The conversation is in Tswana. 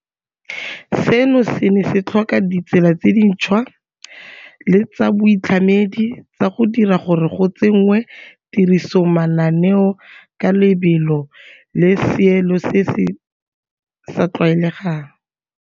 Seno se ne se tlhoka ditsela tse dintšhwa le tsa boitlhamedi tsa go dira gore go tsenngwe tirisong mananeo ka lebelo le seelo se se sa tlwaelegang.